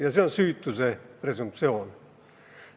Üks neist on süütuse presumptsioon.